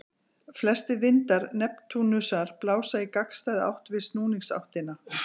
Flestir vindar Neptúnusar blása í gagnstæða átt við snúningsáttina.